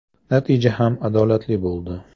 Natija ham adolatli bo‘ldi.